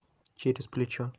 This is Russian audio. через плечо